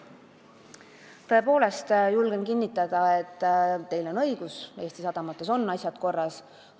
Julgen kinnitada, et teil on õigus: Eesti sadamates on asjad korras.